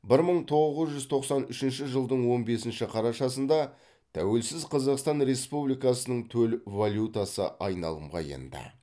бір мың тоғыз жүз тоқсан үшінші жылдың он бесінші қарашасында тәуелсіз қазақстан республикасының төл валютасы айналымға енді